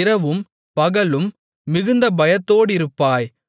இரவும் பகலும் மிகுந்த பயத்தோடிருப்பாய்